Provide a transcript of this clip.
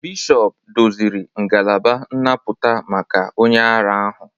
Bishọp doziri ngalaba nnapụta maka onye ara ahụ